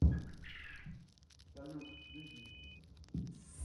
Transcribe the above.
салют беги